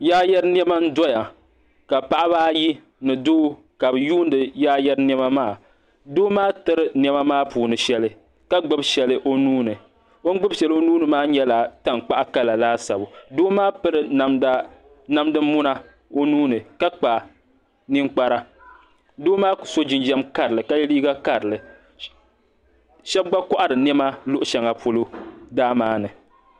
Yaayari nɛma n doya ka paɣba ayi ni doo ka be yuuni yaayari nɛma maa doo maa tiri nɛma maa puuni shɛli ka gbibi shɛli o nuuni o ni gbib shɛli o nuuni maa nyɛla tankpaɣu kala laasabu doo maa piri namdi muna o nuuni ka kpa ninkpara doo maa so jinjam karli ka yɛ liiga karili shɛba gba kohiri nɛma luɣshɛlli polo daa maa ni